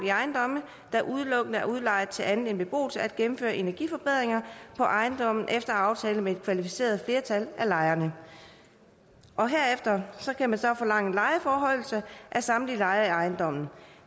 i ejendomme der udelukkende er udlejet til andet end beboelse at gennemføre energiforbedringer på ejendommen efter aftale med et kvalificeret flertal af lejerne herefter kan man så forlange lejeforhøjelse af samtlige lejere i ejendommen